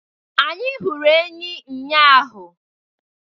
Anyị hụrụ enyí ụnyahụ.